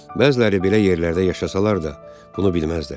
Bəziləri belə yerlərdə yaşasalar da, bunu bilməzdilər.